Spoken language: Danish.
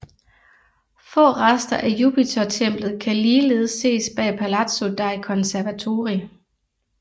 Få rester af Jupitertemplet kan ligeledes ses bag Palazzo dei Conservatori